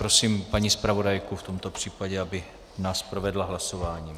Prosím paní zpravodajku v tomto případě, aby nás provedla hlasováním.